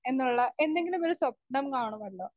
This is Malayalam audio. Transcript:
സ്പീക്കർ 1 എന്നുള്ള എന്തെങ്കിലും ഒരു സ്വപ്നം കാനുമല്ലോ.